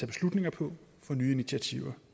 beslutninger på for nye initiativer